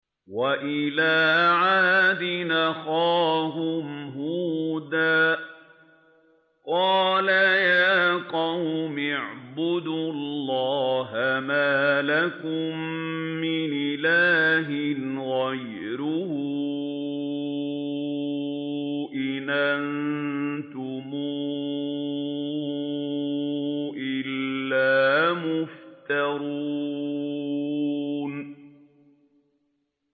وَإِلَىٰ عَادٍ أَخَاهُمْ هُودًا ۚ قَالَ يَا قَوْمِ اعْبُدُوا اللَّهَ مَا لَكُم مِّنْ إِلَٰهٍ غَيْرُهُ ۖ إِنْ أَنتُمْ إِلَّا مُفْتَرُونَ